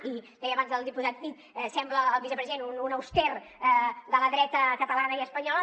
i deia abans el diputat cid sembla el vicepresident un auster de la dreta catalana i espanyola